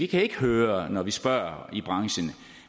kan høre når vi spørger i branchen